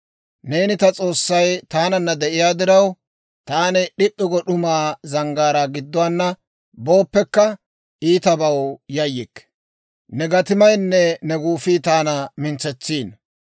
Neeni ta S'oossay taananna de'iyaa diraw, Taani d'ip'p'i go d'umaa zanggaaraa gidduwaanna booppekka, iitabaw yayyikke. Ne gatimaynne ne guufii taana mintsetsiino.